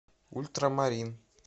ультрамарин